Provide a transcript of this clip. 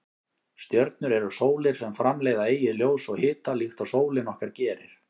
Stjörnur eru sólir sem framleiða eigið ljós og hita líkt og sólin okkar gerir.